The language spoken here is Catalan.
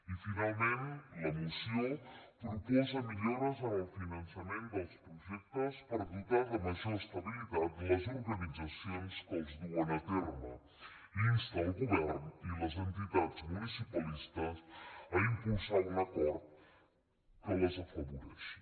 i finalment la moció proposa millores en el finançament dels projectes per dotar de major estabilitat les organitzacions que els duen a terme i insta el govern i les entitats municipalistes a impulsar un acord que les afavoreixi